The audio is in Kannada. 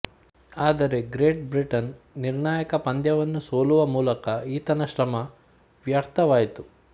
ಆದರೆ ಗ್ರೇಟ್ ಬ್ರಿಟನ್ ನಿರ್ಣಾಯಕ ಪಂದ್ಯವನ್ನು ಸೋಲುವ ಮೂಲಕ ಈತನ ಶ್ರಮ ವ್ಯರ್ಥವಾಯಿತು